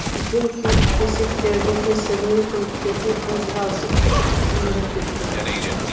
үлкен кесектердің кесірінен көліктердің қозғалысы тіпті қиындап кеткен